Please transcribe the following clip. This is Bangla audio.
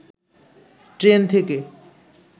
ট্রেন থেকে